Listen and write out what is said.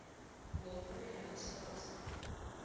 ngomphumela wesibawo sakho